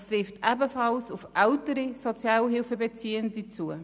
Das trifft ebenfalls auf ältere Sozialhilfebeziehende zu.